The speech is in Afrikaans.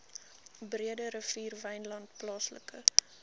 breederivier wynland plaaslike